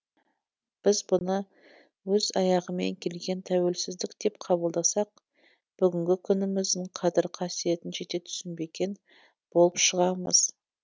біз бұны өз аяғымен келген тәуелсіздік деп қабылдасақ бүгінгі күніміздің қадір қасиетін жете түсінбеген болып шығамыз